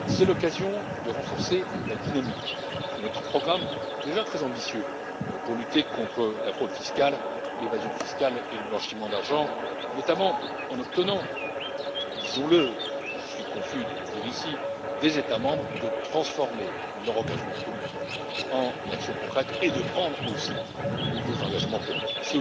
C'est l'occasion de renforcer la dynamique de notre programme, déjà très ambitieux, pour lutter contre la fraude fiscale, l'évasion fiscale et le blanchiment d'argent, notamment en obtenant, disons le je suis confus de le dire ici des États membres qu'ils transforment leur engagement politique en actions concrètes et qu'ils prennent, aussi, de nouveaux engagements politiques.